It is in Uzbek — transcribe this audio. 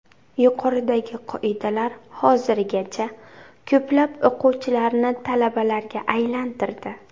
Yuqoridagi qoidalar hozirgacha ko‘plab o‘quvchilarni talabalarga aylantirdi.